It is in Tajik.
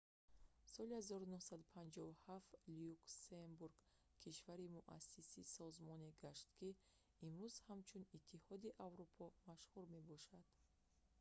соли 1957 люксембург кишвари муассиси созмоне гашт ки имрӯз ҳамчун иттиҳоди аврупо машҳур мебошад